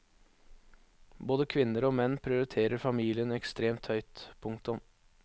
Både kvinner og menn prioriterer familien ekstremt høyt. punktum